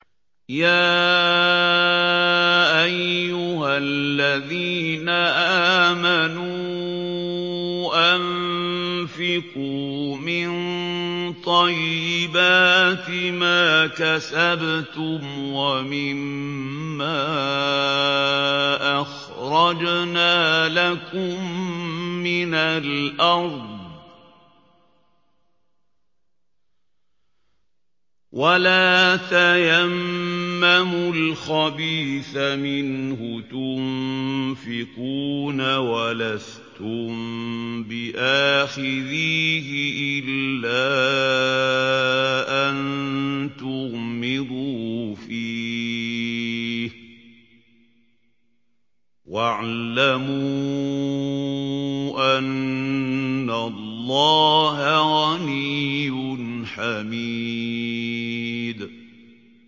يَا أَيُّهَا الَّذِينَ آمَنُوا أَنفِقُوا مِن طَيِّبَاتِ مَا كَسَبْتُمْ وَمِمَّا أَخْرَجْنَا لَكُم مِّنَ الْأَرْضِ ۖ وَلَا تَيَمَّمُوا الْخَبِيثَ مِنْهُ تُنفِقُونَ وَلَسْتُم بِآخِذِيهِ إِلَّا أَن تُغْمِضُوا فِيهِ ۚ وَاعْلَمُوا أَنَّ اللَّهَ غَنِيٌّ حَمِيدٌ